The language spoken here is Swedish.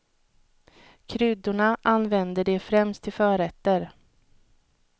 Kryddorna använder de främst till förrätter.